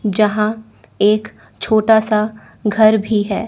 जहां एक छोटासा घर भी है।